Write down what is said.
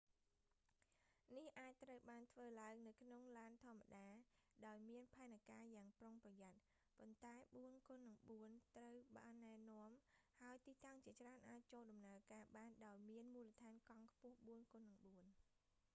នេះអាចត្រូវបានធ្វើឡើងនៅក្នុងឡានធម្មតា​ដោយមាន​ផែនការយ៉ាងប្រុងប្រយ័ត្ន ប៉ុន្តែ 4x4 ត្រូវបាន​ណែនាំ​ហើយ​ទីតាំងជាច្រើនអាច​ចូល​ដំណើរការ​បានដោយមានមូលដ្ឋានកង់ខ្ពស់ 4x4 ។